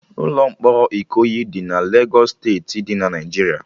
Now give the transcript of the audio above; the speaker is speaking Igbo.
Ụlọ mkpọrọ Ikoyi dị na Legos steeti dị na Naijiria